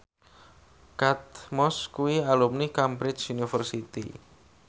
Kate Moss kuwi alumni Cambridge University